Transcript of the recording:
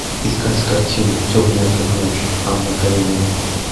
искать картину темная как ночь анна каренина